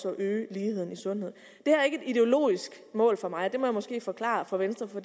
at øge ligheden i sundhed det er ikke et ideologisk mål for mig det må jeg måske forklare for venstre for